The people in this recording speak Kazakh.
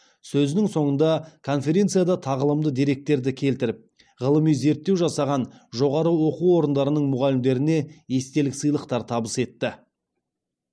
сөзінің соңында конференцияда тағылымды деректерді келтіріп ғылыми зерттеу жасаған жоғары оқу орындарының мұғалімдеріне естелік сыйлықтар табыс етті